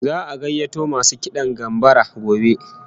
Za'a gayyato masu kidan gambara gobe